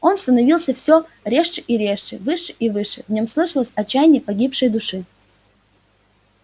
он становился всё резче и резче выше и выше в нем слышалось отчаяние погибшей души